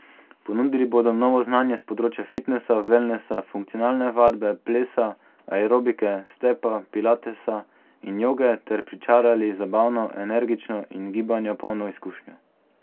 Ponudili bodo novo znanje s področja fitnesa, velnesa, funkcionalne vadbe, plesa, aerobike, stepa, pilatesa in joge ter pričarali zabavno, energično in gibanja polno izkušnjo.